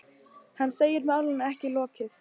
Hann segir málinu ekki lokið.